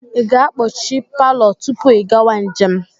Ị ga-akpọchi palọ tupu ị gawa njem?